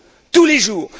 tous les jours!